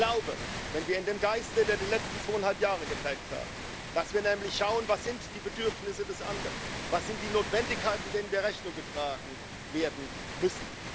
Ich glaube, wenn wir in dem Geist, der die letzten zweieinhalb Jahre geprägt hat dass wir nämlich schauen Was sind die Bedürfnisse des anderen, was sind die Notwendigkeiten, denen hier Rechnung getragen werden muss?